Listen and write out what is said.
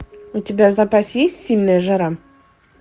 у тебя в запасе есть сильная жара